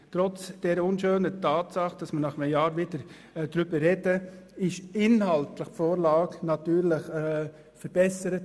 Trotz der unschönen Tatsache, dass wir nun nach einem Jahr wieder darüber reden, wurde die Vorlage inhaltlich natürlich verbessert.